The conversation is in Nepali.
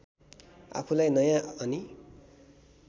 आफूलाई नयाँ अनि